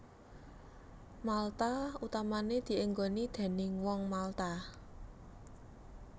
Malta utamané dienggoni déning Wong Malta